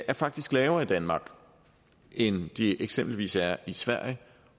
er faktisk lavere i danmark end de eksempelvis er i sverige